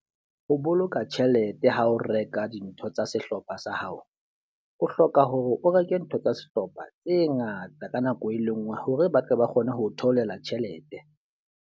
Ho boloka tjhelete ha o reka dintho tsa sehlopha sa hao, o hloka hore o reke ntho tsa sehlopha tse ngata ka nako e le nngwe. Hore ba tle ba kgone ho theolela tjhelete.